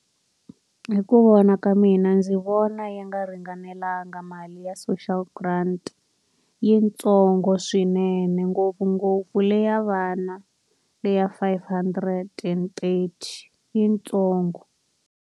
Hi ku vona ka mina ndzi vona yi nga ringanelanga mali ya social grant. I yitsongo swinene ngopfungopfu leyi ya vana le ya five hundred rhandi, I yi ntsongo.